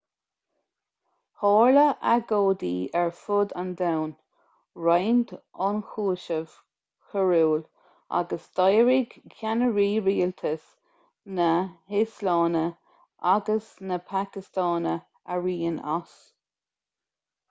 tharla agóidí ar fud an domhain roinnt ionchúiseamh coiriúil agus d'éirigh ceannairí rialtais na híoslainne agus na pacastáine araon as